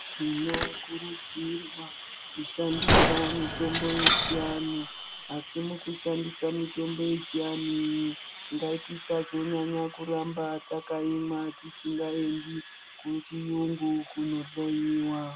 Tinokurudzirwa kushandisa mitombo yechiantu asi mukushandisa mitombo yechiantu iyi ngatisazonyanya kuramba teiimwa tisingaendi kuchirungu kundohloiwa.